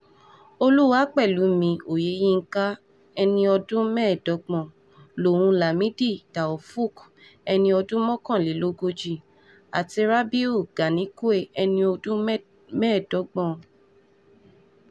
olúwàpẹ̀lẹ́mí oyẹyínkà ẹni ọdún mẹ́ẹ̀ẹ́dọ́gbọ̀n lòun lamidi taofooq ẹni ọdún mọ́kànlélógójì àti rabiu ganikwe ẹni ọdún mẹ́ mẹ́ẹ̀ẹ́dọ́gbọ̀n